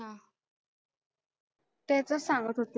त्याचंच सांगत होते.